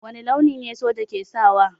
Wani launi ne soja ke sawa?